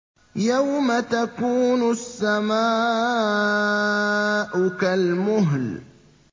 يَوْمَ تَكُونُ السَّمَاءُ كَالْمُهْلِ